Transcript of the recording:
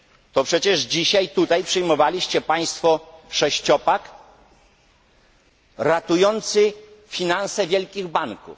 To przecież dzisiaj tutaj przyjmowaliście Państwo sześciopak ratujący finanse wielkich banków.